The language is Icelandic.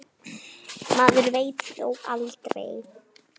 Maður veit þó aldrei.